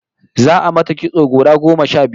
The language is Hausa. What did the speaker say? Za'a mata kitso gora goma sha biyu